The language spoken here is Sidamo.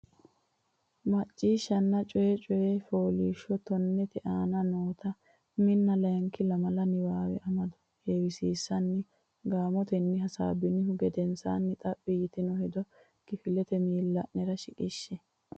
Macciishshanna Coyi Coyi Fooliishsho tonnete aana noota uminna layinki lamala niwaawe amado heewisiissinanni gaamotenni hasaabbinihu gedensaanni xaphi yitino hedo kifilete miilla nera shiqishshe.